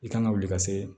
I kan ka wuli ka se